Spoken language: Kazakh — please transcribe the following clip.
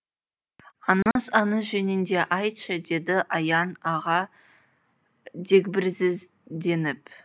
аңыз аңыз жөнінде айтшы деді аян аға дегбірсізденіп